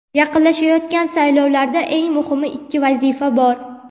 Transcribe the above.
yaqinlashayotgan saylovlarda eng muhim ikki vazifa bor.